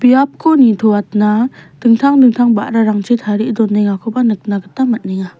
biapko nitoatna dingtang dingtang ba·rarangchi tarie donengakoba nikna gita man·enga.